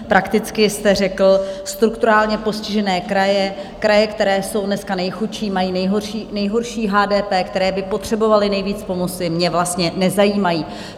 Prakticky jste řekl: strukturálně postižené kraje, kraje, které jsou dneska nejchudší, mají nejhorší HDP, které by potřebovaly nejvíc pomoci, mě vlastně nezajímají.